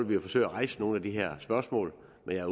vi jo forsøge at rejse nogle af de her spørgsmål men jeg